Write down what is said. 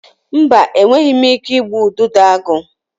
Mba, enweghị m ike igbu Udidoagu.